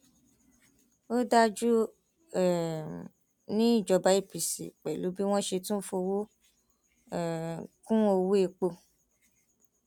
òdàjú um ní ìjọba apc pẹlú bí wọn ṣe tún fọwọ um kún ọwọ epo